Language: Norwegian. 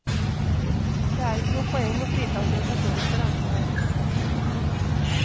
Det er ikke noe poeng å frita organisasjonen for ansvar.